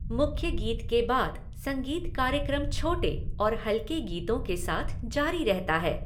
मुख्य गीत के बाद, संगीत कार्यक्रम छोटे और हल्के गीतों के साथ जारी रहता है।